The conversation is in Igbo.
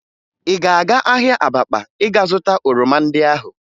Ị ga-aga ahịa Abakpa ịga zụta oroma ndị ahụ?